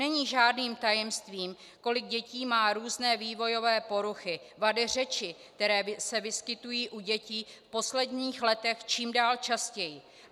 Není žádným tajemstvím, kolik dětí má různé vývojové poruchy, vady řeči, které se vyskytují u dětí v posledních letech čím dál častěji.